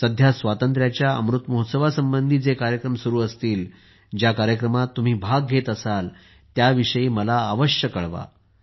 सध्या स्वातंत्र्याच्या अमृत महोत्सवासंबंधी जे कार्यक्रम सुरू असतील ज्या कार्यक्रमात तुम्ही भाग घेत असाल त्या विषयी मला अवश्य कळवा